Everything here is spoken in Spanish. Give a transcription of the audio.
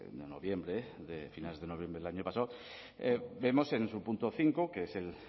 de noviembre de finales de noviembre del año pasado vemos en su punto cinco que es